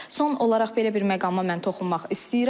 Son olaraq belə bir məqama mən toxunmaq istəyirəm.